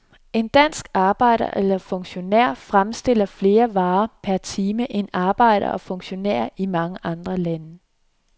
En dansk arbejder eller funktionær fremstiller flere varer per time end arbejdere og funktionærer i mange andre lande.